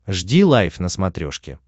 жди лайв на смотрешке